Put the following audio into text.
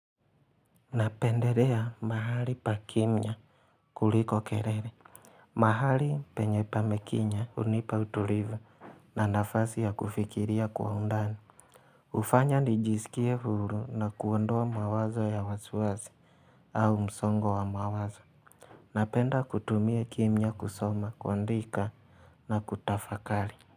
Napendelea mahali pa kimya kuliko kelele mahali penye pamekimya hunipa utulivu na nafasi ya kufikiria kwa undani hufanya nijisikie huru na kuondoa mawazo ya wasi wasi au msongo wa mawazo Napenda kutumia kimya kusoma kuandika na kutafakali.